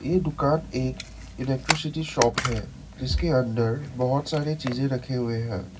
ये दुकान एक इलेक्ट्रिसिटी शॉप है जिसके अंदर बहोत सारी चीज रखे हुए हैं।